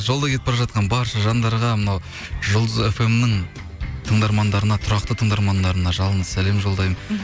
жолда кетіп бара жатқан барша жандарға мынау жұлдыз фм нің тыңдармандарына тұрақты тыңдармандарына жалынды сәлем жолдаймын